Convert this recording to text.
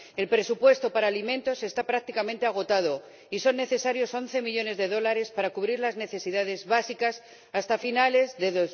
El presupuesto para alimentos está prácticamente agotado y son necesarios once millones de dólares para cubrir las necesidades básicas hasta finales de